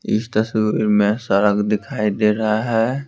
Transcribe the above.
इस तस्वीर में सड़क दिखाई दे रहा है।